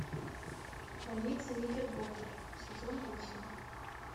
больница никербокер сезон восемь